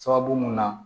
Sababu mun na